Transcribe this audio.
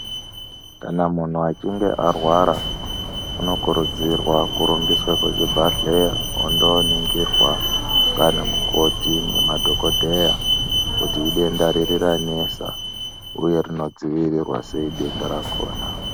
Kana muntu achinge arwara unokurudzirwa kumhanye kuchibhedhleya ondoningirwa nganamukoti nemadhokodheya kuti idenda riri ranesa uye rinodzivirirwa sei denda rakona.